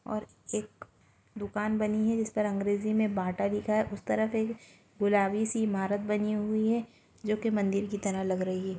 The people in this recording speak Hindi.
और एक दुकान बनी है जिस पर अँग्रेजी मे बाटा लिखा हे उस तरफ एक गुलाबी सी इमारत बनी हुई है जो कि मंदिर की तरह लग रही है।